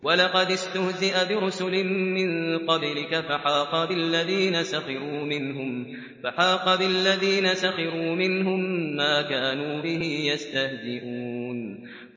وَلَقَدِ اسْتُهْزِئَ بِرُسُلٍ مِّن قَبْلِكَ فَحَاقَ بِالَّذِينَ سَخِرُوا مِنْهُم مَّا كَانُوا بِهِ يَسْتَهْزِئُونَ